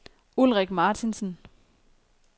Ulrik Martinsen